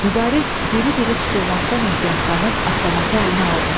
Mübariz diri-diri tutulmaqdan ehtiyatlanıb avtomatı əlinə aldı.